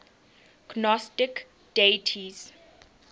gnostic deities